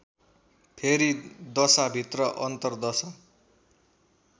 फेरि दशाभित्र अन्तरदशा